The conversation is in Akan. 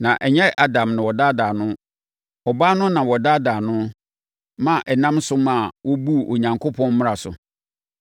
Na ɛnyɛ Adam na wɔdaadaa no. Ɔbaa no na wɔdaadaa no ma ɛnam so maa ɔbuu Onyankopɔn mmara so.